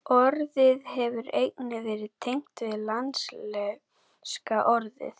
Orðið hefur einnig verið tengt við latneska orðið